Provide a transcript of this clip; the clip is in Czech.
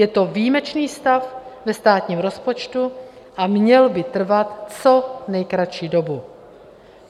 Je to výjimečný stav ve státním rozpočtu a měl by trvat co nejkratší dobu.